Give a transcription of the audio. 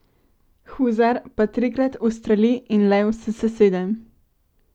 Huzar pa trikrat ustreli in lev se sesede.